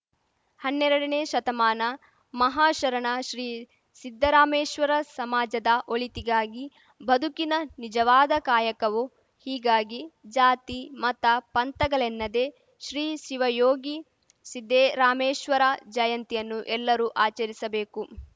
ಹನ್ನೆರಡನೇ ಶತಮಾನ ಮಹಾಶರಣ ಶ್ರೀ ಸಿದ್ದರಾಮೇಶ್ವರ ಸಮಾಜದ ಒಳಿತಿಗಾಗಿ ಬದುಕಿನ ನಿಜವಾದ ಕಾಯಕವೋ ಹೀಗಾಗಿ ಜಾತಿ ಮತ ಪಂಥಗಲೆನ್ನದೆ ಶ್ರೀ ಶಿವಯೋಗಿ ಸಿದ್ದೆರಾಮೆಶ್ವರ ಜಯಂತಿಯನ್ನು ಎಲ್ಲರೂ ಆಚರಿಸಬೇಕು